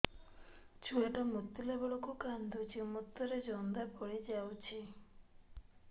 ଛୁଆ ଟା ମୁତିଲା ବେଳକୁ କାନ୍ଦୁଚି ମୁତ ରେ ଜନ୍ଦା ପଡ଼ି ଯାଉଛି